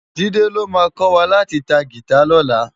Jide ló má kòwá láti tá gitá lòlá